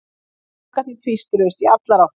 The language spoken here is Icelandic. Krakkarnir tvístruðust í allar áttir.